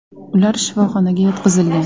Ular shifoxonaga yotqizilgan.